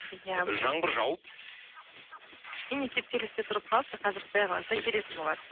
иә жаңбыр жауып кішкене кептелісте тұрып қалыпты қазір құдай қаласа келетін болады